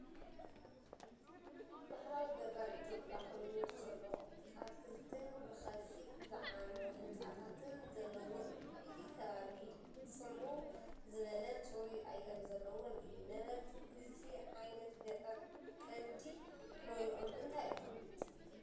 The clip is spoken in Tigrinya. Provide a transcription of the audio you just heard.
ባህላዊ ገጠር ኢትዮጵያ ኮይኑ፡ ጽዑቕ ኣትክልትን ብኸፊል ዝዓነወ ህንጻታትን ዘለዎ እዩ። እቲ ከባቢ ጽምው ዝበለን ጽሩይ ኣየር ዘለዎን እዩ። ነበርቲ እዚ ዓይነት ገጠር ቀንዲ ሞያኦም እንታይ እዩ?